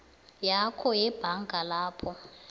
yakho yebhanga lapho